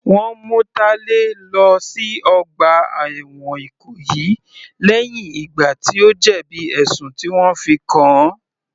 Wọ́n mú Talẹ lọ sí ọgbà ẹ̀wọ̀n Ìkòyí lẹ́hìn ìgbà tí ó jẹ̀bi ẹ̀sùn tí wọ́n fi kàn-an.